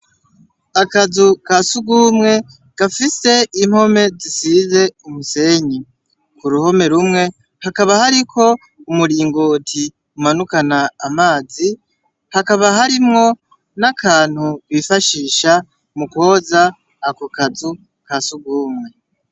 Akazu kasugumwe gafise impome zisize umusenyi ku ruhome rumwe hakaba hariko umuringoti umanukana amazi hakaba harimwo n'akantu bifashisha mukwoza ako kazu kasugumwe.